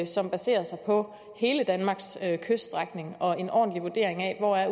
som baserer sig på hele danmarks kyststrækning og en ordentlig vurdering af hvor